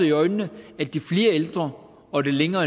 i øjnene at de flere ældre og den længere